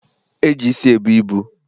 E ji isi ebu ibu.